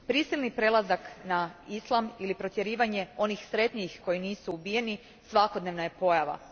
Prisilni prelazak na islam ili protjerivanje onih sretnijih koji nisu ubijeni svakodnevna je pojava.